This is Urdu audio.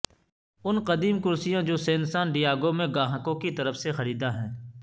ان قدیم کرسیاں جو سین سان ڈیاگو میں گاہکوں کی طرف سے خریدا ہیں